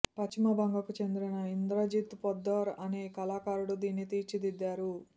పశ్చిమ్ బంగకు చెందిన ఇంద్రజిత్ పొద్దార్ అనే కళాకారుడు దీన్ని తీర్చిదిద్దారు